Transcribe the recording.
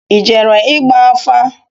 I jere igba afa?